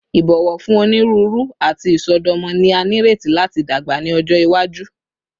Ibọwọ fun oniruuru ati isọdọmọ ni a nireti lati dagba ni ọjọ iwaju